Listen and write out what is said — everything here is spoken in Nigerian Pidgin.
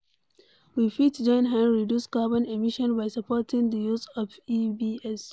We fit join hand reduce carbon emission by supporting di use of EV's